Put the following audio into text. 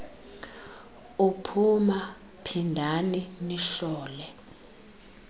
uphuma phindani nihlole